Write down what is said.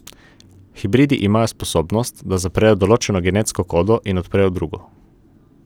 Hibridi imajo sposobnost, da zaprejo določeno genetsko kodo in odprejo drugo.